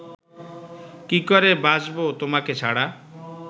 কি করে বাঁচবো তোমাকে ছাড়া